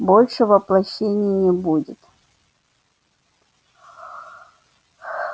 больше воплощений не будет